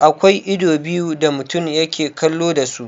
Akwa ido biyu da mutum yake kallo dasu.